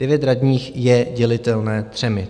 Devět radních je dělitelné třemi.